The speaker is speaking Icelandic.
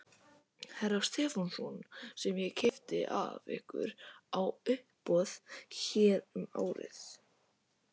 Stefánsson sem ég keypti af ykkur á uppboði hér um árið.